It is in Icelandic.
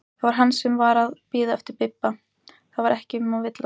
Það var hann sem var að bíða eftir Bibba, það var ekki um að villast!